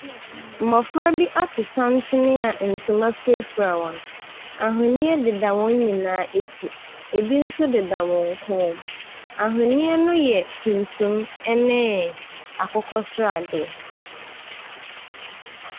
Mmɔfra bi ato santene a ntoma firafira wɔn. Ahwenneɛ deda wɔn nyinaa ɛti. Ɛbi nso deda wɔn kɔn mu. Ahwenneɛ no yɛ tumtum ɛne akokɔsradeɛ.